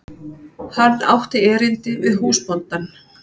Hann átti erindi við húsbóndann.